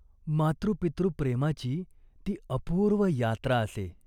मातृपितृप्रेमाची ती अपूर्व यात्रा असे.